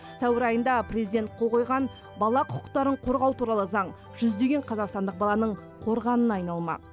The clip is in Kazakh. сәуір айында президент қол қойған бала құқықтарын қорғау туралы заң жүздеген қазақстандық баланың қорғанына айналмақ